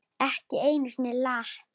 Ekki einu sinni Lat.